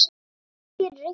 Mun kannski rigna?